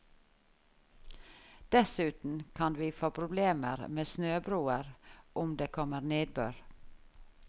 Dessuten kan vi få problemer med snøbroer, om det kommer nedbør.